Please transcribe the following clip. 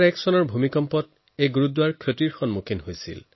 ২০০১ চনৰ ভূমিকম্পত এই গুৰুদ্বাৰৰো ক্ষতি হয়